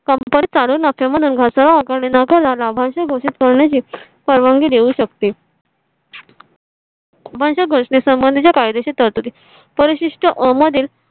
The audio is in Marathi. company चालू नको म्हणून घसा आणि नफ्याला लाभांश घोषित करण्याची परवानगी देऊ शकते मला घोषणे संबंधीच्या कायदेशीर तरतुदी परिशिष्टा मधील